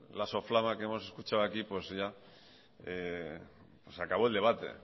la soflama que hemos escuchado aquí pues ya se acabó el debate